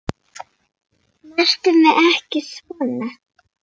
Snertu mig ekki svona.